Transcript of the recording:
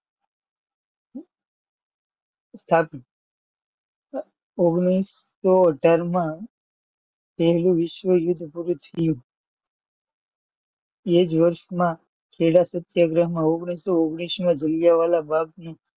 સ્થાપી. ઓગણીસો અઢાર માં પહેલું વિશ્વ યુદ્ધ પૂરું થયું. એ જ વર્ષમાં ખેડા સત્યાગ્રહમાં ઓગણીસો ઓગણીસમાં જલિયાવાલા બાગની